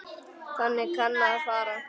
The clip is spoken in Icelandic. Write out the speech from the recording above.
Þannig kann að fara.